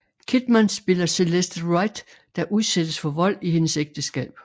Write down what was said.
Kidman spiller Celeste Wright der udsættes for vold i hendes ægteskab